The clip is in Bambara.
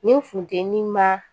Nin funtɛni ma